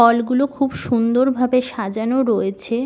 ফল গুলো খুব সুন্দর ভাবে সাজানো রয়েছে।